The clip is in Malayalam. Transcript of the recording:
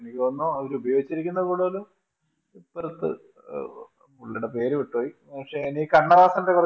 എനിക്ക് തോന്നുന്നു അവരുപയോഗിച്ചിരിക്കുന്നത് കൂടുതലും പുറത്തു പുള്ളിടെ പേര് വിട്ടുപോയി പക്ഷെ എനിക്ക് കണ്ണദാസന്റെ കുറച്ചു